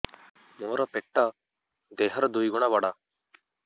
ମୋର ପେଟ ଦେହ ର ଦୁଇ ଗୁଣ ବଡ